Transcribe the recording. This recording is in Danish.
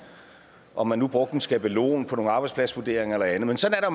om man nu brugte en skabelon på nogle arbejdspladsvurderinger eller andet men sådan er